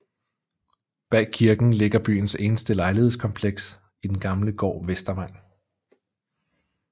Bag kirken ligger byens eneste lejlighedskompleks i den gamle gård Vestervang